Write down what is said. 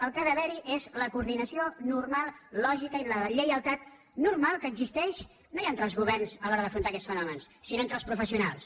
el que ha d’haver hi és la coordinació normal lògica i la lleialtat normal que existeix no ja entre els governs a l’hora d’afrontar aquests fenòmens sinó entre els professionals